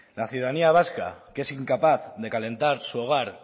la ciudadanía vasca que es incapaz de calentar su hogar